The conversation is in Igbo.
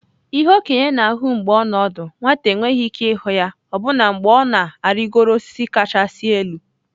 ihe okenye na-ahụ mgbe ọ nọ ọdụ, nwata enweghị ike ịhụ ya ọbụna mgbe ọ na-arịgoro osisi kachasị elu.